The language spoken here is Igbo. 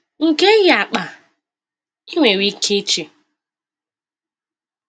‘M̀ ga-eyi akpa?’ ị nwere ike iche.